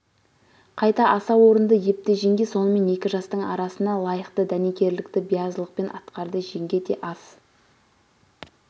қайта аса орынды епті жеңге сонымен екі жастың арасына лайықты дәнекерлікті биязылықпен атқарды жеңге де ас